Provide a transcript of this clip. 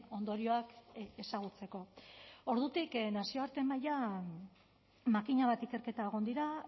ondorioak ezagutzeko ordutik nazioarte mailan makina bat ikerketa egon dira